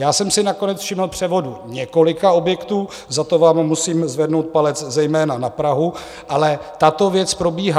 Já jsem si nakonec všiml převodu několika objektů, za to vám musím zvednout palec, zejména na Prahu, ale tato věc probíhá.